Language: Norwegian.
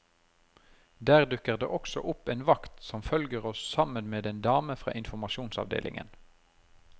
Der dukker det også opp en vakt som følger oss sammen med en dame fra informasjonsavdelingen.